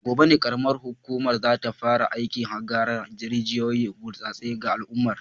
A gobe ne karamar hukumar za ta fara aikin hakar rijiyoyin burtsatse ga al’umma